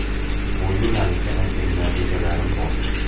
Bu yo‘nalishda anchagina rejalarim bor.